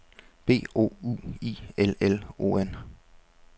B O U I L L O N